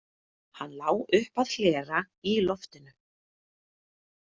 Hann lá upp að hlera í loftinu.